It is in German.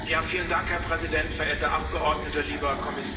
Herr Präsident, verehrte Abgeordnete, lieber Kommissar!